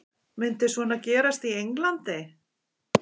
Myndi svona gerast í Englandi?